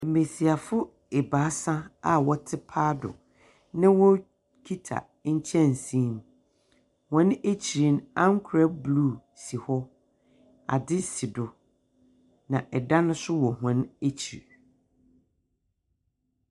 Mbiasiafo ebaasa aa wɔtsena paado na wɔrekita nkyɛnse mu wɔn ekyir no ankwɛr blu si hɔ ade si do na ɛdan no so wɔ hɔn ekyir.